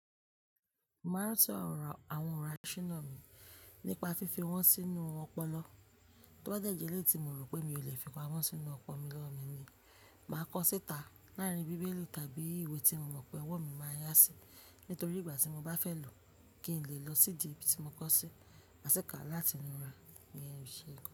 Màá sọ ọrọ àwọn ọ̀rọ̀ àṣína náà mí nípa fífi wọ́n sínú ọpọlọ. Tó bá dẹ̀jẹ̀ eleyii ti mi mo rò pé mi ò lè fi wọn sínú ọpọlọ mi ni, màá kọ́ síta láàrín bíbélì tàbí ìwé tí mo mọ̀ pé ọwọ́ mi máa yá sí nítorí ìgbà tí mo bá fẹ́ lò ó kí n lè lọ sí ibi tí mo kọ́ sí àsìkò láti nu ra ní ẹni ìṣe ikọ̀.